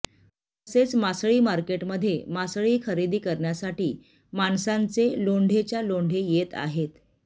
तसेच मासळी मार्केटमध्ये मासळी खरेदी करण्यासाठी माणसांचा लोंढाच्या लोंढा येत आहे